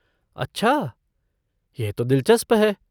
अच्छा, यह तो दिलचस्प है।